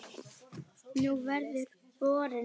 Nú verður borinn fram matur.